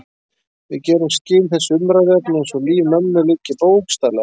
Við gerum skil þessu umræðuefni eins og líf mömmu liggi bókstaflega við.